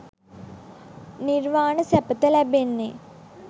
නිර්වාණ සැපත ලැබෙන්නේ